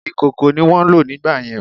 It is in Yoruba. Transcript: Ìkòkò ni wón ń lò nígbàyẹn